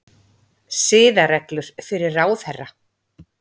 Siðareglur fyrir ráðherra